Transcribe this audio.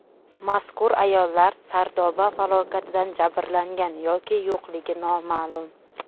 Mazkur ayollar Sardoba falokatidan jabrlangan yoki yo‘qligi noma’lum.